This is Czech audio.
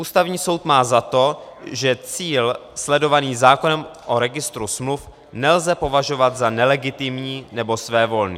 Ústavní soud má za to, že cíl sledovaný zákonem o registru smluv nelze považovat za nelegitimní nebo svévolný.